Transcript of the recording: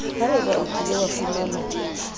haebe o kile wa fumana